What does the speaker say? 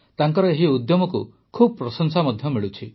ତାଙ୍କର ଏହି ଉଦ୍ୟମକୁ ବହୁ ପ୍ରଶଂସା ମଧ୍ୟ ମିଳୁଛି